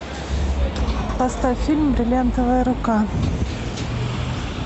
поставь фильм бриллиантовая рука